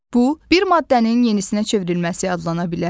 Bu, bir maddənin yenisinə çevrilməsi adlana bilərmi?